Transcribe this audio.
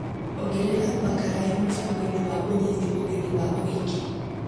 Ongerera Bakarae mũbango-inĩ wa ũnyiti ũgeni wa ũhiki.